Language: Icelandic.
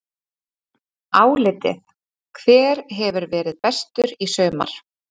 Álitið: Hver hefur verið bestur í sumar?